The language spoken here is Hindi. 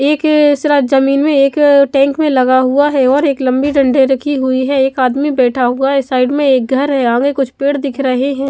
एक एसरा जमीन में एक टैंक में लगा हुआ है और एक लम्बी डंडी रखी हुई है एक आदमी बेठा हुआ है साइड में एक घर है आगे कुछ पेड़ दिख रहे हैं ।